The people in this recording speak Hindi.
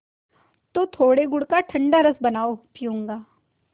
तो थोड़े गुड़ का ठंडा रस बनाओ पीऊँगा